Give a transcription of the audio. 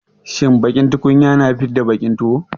Shin baƙin tukunya na fidda baƙin tuwo.